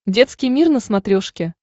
детский мир на смотрешке